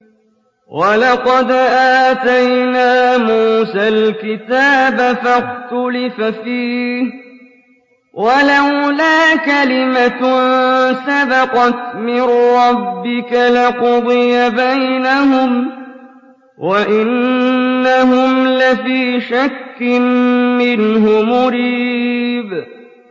وَلَقَدْ آتَيْنَا مُوسَى الْكِتَابَ فَاخْتُلِفَ فِيهِ ۗ وَلَوْلَا كَلِمَةٌ سَبَقَتْ مِن رَّبِّكَ لَقُضِيَ بَيْنَهُمْ ۚ وَإِنَّهُمْ لَفِي شَكٍّ مِّنْهُ مُرِيبٍ